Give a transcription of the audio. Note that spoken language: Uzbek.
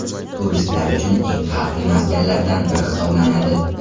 Turistlar uchun eng xavfli maskanlardan biri hisoblanadi.